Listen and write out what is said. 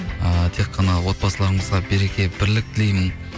ыыы тек қана отбасылраңызға береке бірлік тілеймін